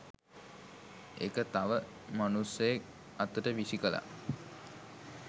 ඒක තව මනුස්සයෙක් අතට විසි කලා.